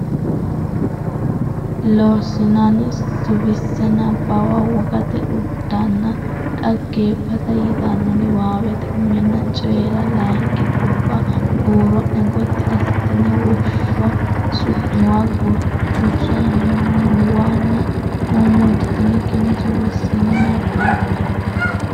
Lossinanni Suwise Nabbawa wogate uddanna dhaggeeffata yitanno niwaaweta uminna Coyi ra layinki guffa huuro ne gotti assitine Woshsho su muwa Gutu su muwanna mommoditinikkinni suwissine nabbabbe.